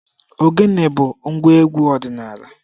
Ogene bu ngwa egwu odinala.